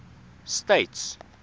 states